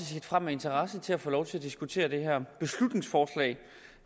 med interesse til at få lov til at diskutere det her beslutningsforslag